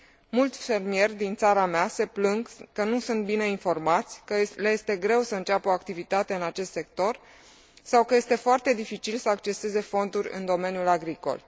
Mulți fermieri din țara mea se plâng că nu sunt bine informați, că le este greu să înceapă o activitate în acest sector, sau că este foarte dificil să acceseze fonduri în domeniul agricol.